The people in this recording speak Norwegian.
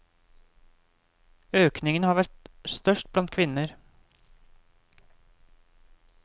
Økningen har vært størst blant kvinner.